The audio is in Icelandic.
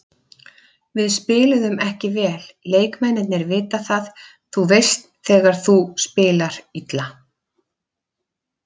Við spiluðum ekki vel, leikmennirnir vita það, þú veist þegar þú spila illa.